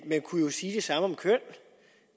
kunne jo sige det samme om køn